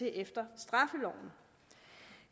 efter straffeloven